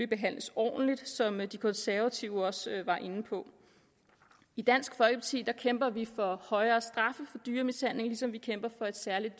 behandles ordentligt som de konservative også var inde på i dansk folkeparti kæmper vi for højere straffe for dyremishandling ligesom vi kæmper for et særligt